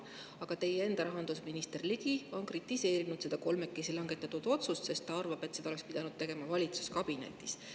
Aga teie enda rahandusminister Ligi on kritiseerinud seda kolmekesi langetatud otsust, sest ta arvab, et seda oleks pidanud tegema valitsuskabinetis.